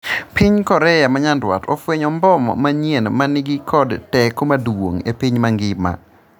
piny Korea ma nyandwat ofwenyo mbom manyien mani kod teko maduong' e piny mangima